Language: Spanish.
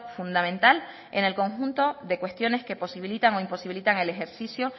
fundamental en el conjunto de cuestiones que posibilitan o imposibilitan el ejercicio